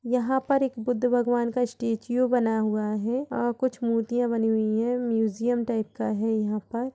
यहाँ पर एक बुद्ध भगवान का स्टैचू बना हुआ है और कुछ मूर्तियां बनी हुई है म्यूजियम टाइप का है यहां पर ।